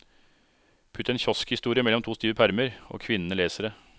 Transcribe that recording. Putt en kioskhistorie mellom to stive permer, og kvinnene leser det.